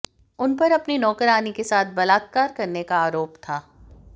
उनपर अपनी नौकरानी के साथ बलात्कार करने का आरोप था